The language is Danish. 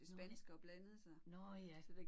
Nåh. Nåh ja